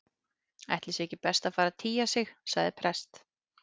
Ætli sé ekki best að fara að tygja sig- sagði prest